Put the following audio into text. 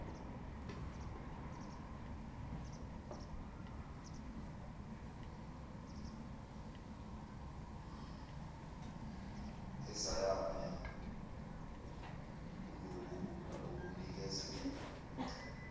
ezeyame kulokhu okunikezelwe